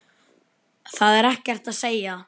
Það er ekkert að segja.